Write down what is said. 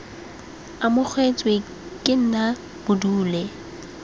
amogetswe ke nna bo dule